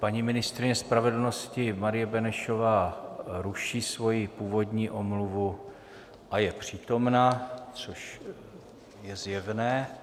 Paní ministryně spravedlnosti Marie Benešová ruší svoji původní omluvu a je přítomna, což je zjevné.